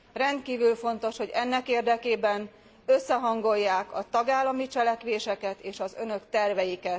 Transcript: Rendkívül fontos, hogy ennek érdekében összehangolják a tagállami cselekvéseket és az Önök terveit.